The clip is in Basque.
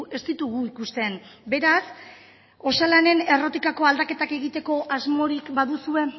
ez ditugu ikusten beraz osalanen errotik aldaketak egiteko asmorik baduzue